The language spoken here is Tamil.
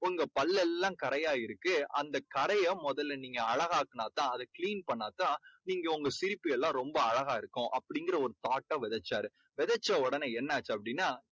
உங்க பல்லெல்லாம் கரையா இருக்கு. அந்தக் கறையை முதல்ல நீங்க அழகாக்குனா தான் clean பண்ணா தான் நீங்க சிரிக்கையில ரொம்ப அழகா இருக்கும் அப்படீங்கற ஒரு thought ட விதைச்சாரு. விதைச்ச உடனே என்ன ஆச்சு அப்படீன்னா